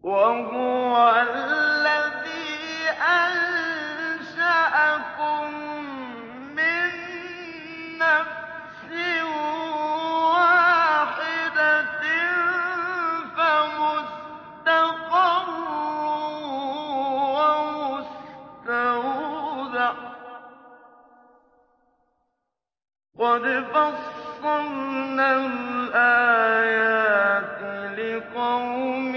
وَهُوَ الَّذِي أَنشَأَكُم مِّن نَّفْسٍ وَاحِدَةٍ فَمُسْتَقَرٌّ وَمُسْتَوْدَعٌ ۗ قَدْ فَصَّلْنَا الْآيَاتِ لِقَوْمٍ